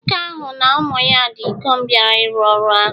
Nwoke ahụ na ụmụ ya ndị ikom bịara ịrụ ọrụ ahụ